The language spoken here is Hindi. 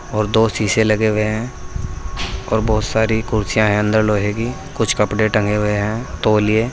और दो शीशे लगे हुए हैं और बहुत सारी कुर्सियां है अंदर लोहे की कुछ कपड़े टंगे हुए हैं तौलिए --